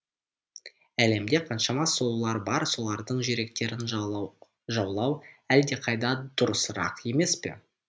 әлемде қаншама сұлулар бар солардың жүректерін жаулау әлдеқайда дұрысырақ емес пе